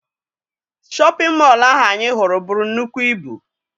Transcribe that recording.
Shọpịn mọọ ahụ anyị hụrụ buru nnukwu ibu.